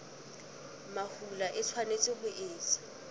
mahola e tshwanetse ho etswa